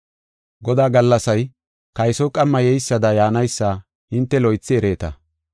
Godaa Gallasay kaysoy qamma yeysada yaanaysa hinte loythi ereeta.